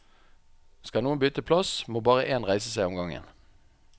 Skal noen bytte plass, må bare én reise seg om gangen.